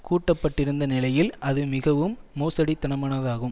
கூட்ட பட்டிருந்த நிலையில் அது மிகவும் மோசடித்தனமானதாகும்